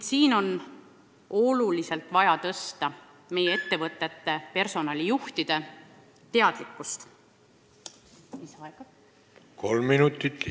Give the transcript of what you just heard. Selleks on oluliselt vaja tõsta ka meie ettevõtete personalijuhtide teadlikkust ning samuti poliitikute oma.